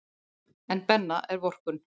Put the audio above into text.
En Benna er vorkunn.